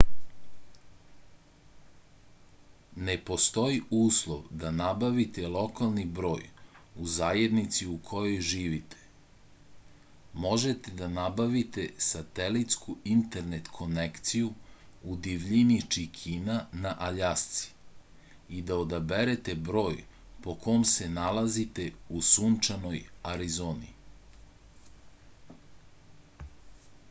ne postoji uslov da nabavite lokalni broj u zajednici u kojoj živite možete da nabavite satelitsku internet konekciju u divljini čikina na aljasci i da odaberete broj po kom se nalazite u sunčanoj arizoni